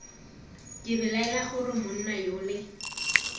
ke belaela gore monna yole